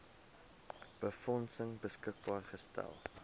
befondsing beskikbaar gestel